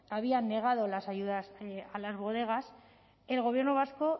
había negado las ayudas a las bodegas el gobierno vasco